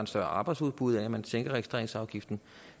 større arbejdsudbud ved at man sænker registreringsafgiften